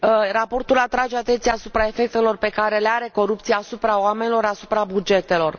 Raportul atrage atenția asupra efectelor pe care le are corupția asupra oamenilor, asupra bugetelor.